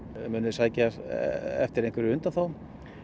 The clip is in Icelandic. þið sækjast eftir einhverjum undanþágum